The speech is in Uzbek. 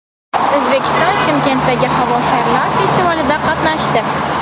O‘zbekiston Chimkentdagi havo sharlari festivalida qatnashdi.